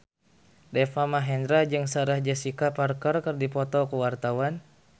Deva Mahendra jeung Sarah Jessica Parker keur dipoto ku wartawan